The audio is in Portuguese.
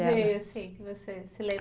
Veio assim, que você se lembra?